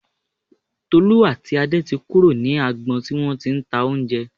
Tolú àti Adé ti kúrò ní agbọn tí wọ́n ti ń ta oúnjẹ